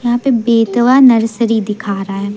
यहां पे बेतवा नर्सरी दिखा रहा है।